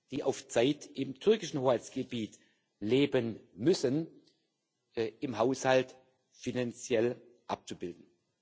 die auf Zeit im türkischen Hoheitsgebiet leben müssen, im Haushalt finanziell abzubilden.